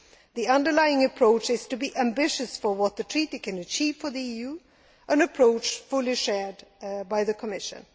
The underlying approach is to be ambitious for what the Treaty can achieve for the EU an approach fully shared by the Commission.